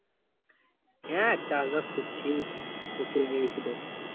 হ্যাঁ চাষ বাষ করছি কপি লাগিয়েছি তো